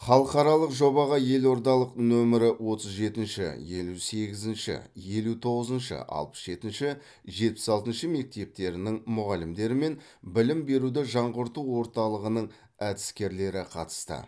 халықаралық жобаға елордалық нөмірі отыз жетінші елу сегізінші елу тоғызыншы алпыс жетінші жетпіс алтыншы мектептерінің мұғалімдері мен білім беруді жаңғырту орталығының әдіскерлері қатысты